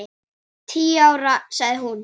Tíu ár, sagði hún.